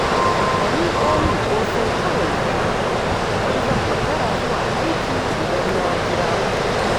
A miƙo min ƙosai kawai na taɓa, don zan makara zuwa aiki idan na jira ku